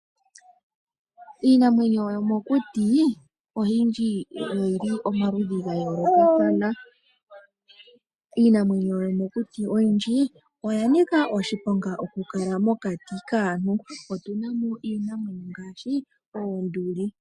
Iinamwenyo yomokuti oyindji oyi li omaludhi ga yoolokathana. Iinamwenyo yomokuti oyindji oya nika oshiponga okulala mokati kaantu, otuna mo iinamwenyo mgaashi oonduli.